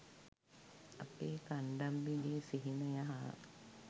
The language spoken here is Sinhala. අපේ කණ්ඩම්බිගේ සිහිනය හා